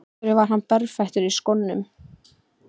Af hverju var hann berfættur í skónum?